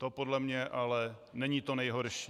To podle mě ale není to nejhorší.